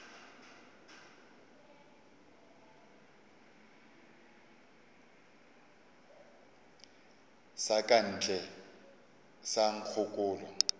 sa ka ntle sa nkgokolo